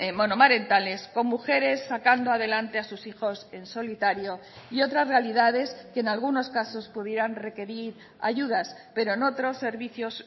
monomarentales con mujeres sacando adelante a sus hijos en solitario y otras realidades que en algunos casos pudieran requerir ayudas pero en otros servicios